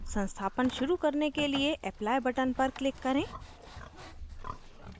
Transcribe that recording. संस्थापन शुरू करने के लिए apply button पर click करें